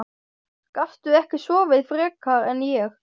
Gastu ekki sofið frekar en ég?